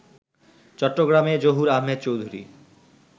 চট্টগ্রামে জহুর আহমদ চৌধুরী